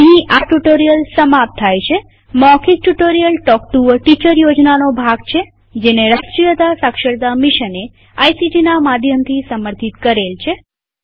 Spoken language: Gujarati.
અહીં આ ટ્યુ્ટોરીઅલ સમાપ્ત થાય છેમૌખિક tutorial talk to a teacher યોજનાનો ભાગ છેજેને રાષ્ટ્રીય સાક્ષરતા મિશને આઇસીટી ના માધ્યમથી સમર્થિત કરેલ છે